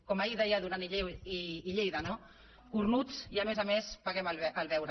com ahir deia duran i lleida no cornuts i a més a més paguem el beure